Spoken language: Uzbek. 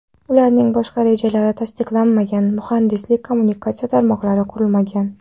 Ularning bosh rejalari tasdiqlanmagan, muhandislik-kommunikatsiya tarmoqlari qurilmagan.